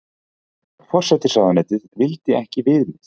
Forsætisráðuneytið vildi ekki viðmið